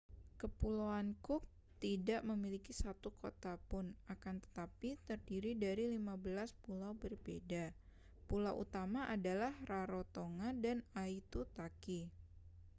kepulauan cook tidak memiliki satu kota pun akan tetapi terdiri dari 15 pulau berbeda pulau utama adalah rarotonga dan aitutaki